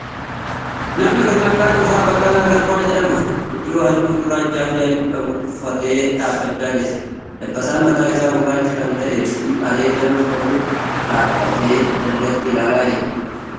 Namni kuni maqaan isaa Baqqalaa Garbaa jedhama. Huccuu haalluu gurraacha fi adii qabu uffatee dhaabbachaa jira. Dabbasaan mataa isaa gurraacha kan ta'ee fi areeda nama qabuudha. Dhaabbatee dalgatti ilaalaa jira.